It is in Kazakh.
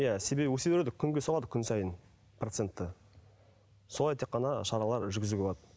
иә себебі өсе береді ғой күнге салады ғой күн сайын процентті солай тек қана шаралар жүргізуге болады